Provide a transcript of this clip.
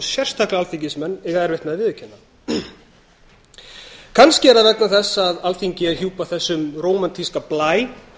sérstaklega alþingismenn eiga erfitt með að viðurkenna kannski er það vegna þess að alþingi er hjúpað þessum rómantísk blæ